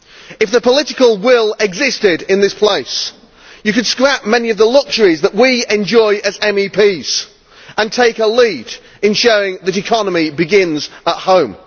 If the political will existed in this place, you could scrap many of the luxuries that we enjoy as MEPs and take a lead in showing that economy begins at home.